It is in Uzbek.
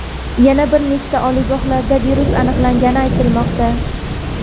Yana bir nechta oliygohlarda virus aniqlangani aytilmoqda.